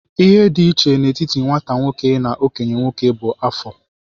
Ihe dị iche n'etiti nwata nwoke na okenye nwoke bụ afọ.